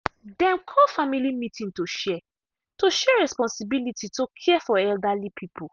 dem call family meeting to share to share responsibility to care for elderly people.